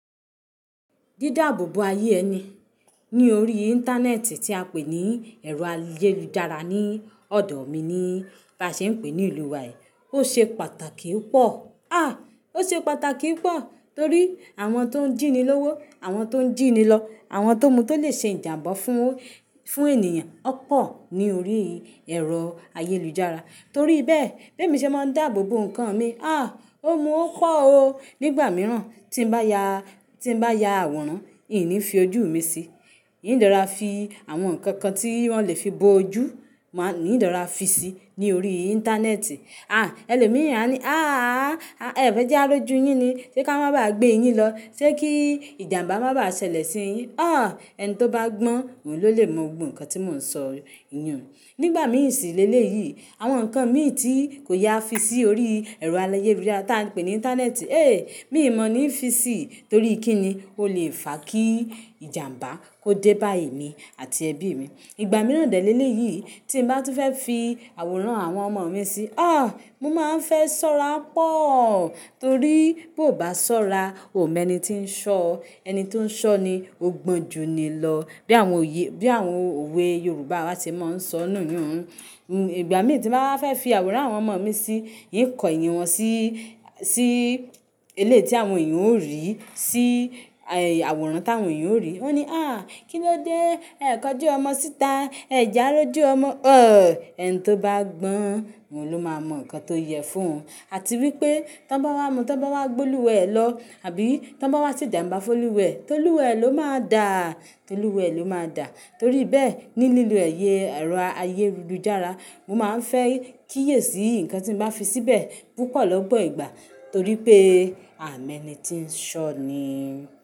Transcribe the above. Dí dáàbòbo ayé ẹni ní orí Íńtánẹ́ẹ̀tì tí a pè ní ẹ̀rọ ayélujára ní ọ̀dọ̀ mi ni bá ṣe ń pè ní ìlú wa yìí, ó ṣe pàtàkì pọ̀. À! Ó ṣe pàtàkì pọ̀ torí àwọn tó ń jìni lówó, àwọn tó ń jìni lọ, àwọn tó mu to lè ṣe ìjàǹbá fún, fún ènìyàn ọ̀pọ̀ ní orí ẹ̀rọ ayélujára. Torí bẹ́ẹ̀, bí èmi ṣe máa ń dáàbò bo ǹkan mi, à! Ó mú ọ́ kọ́ o. Nígbà mìíràn tí bá ya, tí bá ya àwòrán, ìní fi ojú mi sí. N dera fi àwọn ǹkan kan tí wọ́n lè fi bo ojú, máa n dera fi sí ní orí Íńtánẹ́ẹ̀tì. À! Elòmíràn a ní, "àà, ẹ fẹ́ já rójú yín ni? Ṣé ká má bá gbé yín lọ? Ṣé kí ìjàǹbá má bá ṣẹlẹ̀ sí yín?" À! Ẹni tó bá gbọ́n, òun ló lè mọ gbogbo ǹkan tí mò ń sọ yii. Nígbà mìí sì léle yìí, àwọn ǹkan mi tí kò ye a fi sí orí ẹ̀rọ ayélujára tí a ń pè ní Íńtánẹ́ẹ̀tì, é! Mí ma ní fi sí torí kí ni ó lè fa kíi ìjàǹbá kó dé bá èmi àti ẹbí mi. Ìgbà mìíràn dè lẹ lẹyii tí bá tún fẹ́ fi àwòrán àwọn ọmọ mi sí, à! Mo má ń fẹ́ sọ́ra pọ̀ torí bó bá sọ́ra, ò mọ ẹni tí ń ṣọ́. Ẹni tó ń ṣọ́ ni ógbọ́n ju ni lọ. Bí àwọn oyè, bí àwọn òwe Yorùbá wa ṣe máa ń sọ nù yun. Ìgbà mi tí báa wà fẹ́ fi àwòrán àwọn ọmọ mi sí, n kọ ènìyàn wọn sí, sí eléyìí tí àwọn èyàn ó rí, sí àwòrán tàwọn èyàn ó rí. Wọn ní, "à! Kí ló dé ẹ kọjú ọmọ síta? Ẹ jẹ à róju ọmọ?" À! Ẹni tó bá gbọ́n, òun ló máa mọ ǹkan tó yẹ fún òun. Àti wípé, tó bá wá mú, tó bá wá gbé olúwẹ̀ lọ, àbí tó bá wá ṣe ìjàǹbá fún olúwẹ̀, tó olúwẹ̀ ló máa dàá, tó olúwẹ̀ ló máa dà. Torí bẹ́ẹ̀, ní lílo ayẹ ẹ̀rọ ayélujára, mo má ń fẹ́ kíyèsi ìǹkan tí màá fi síbẹ̀ púpọ̀ lọ́pọ̀ ìgbà torí pé a ò mọ ẹni tí ń ṣọ́ ni.